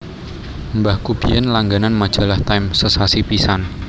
Mbahku biyen langganan majalah Time sesasi pisan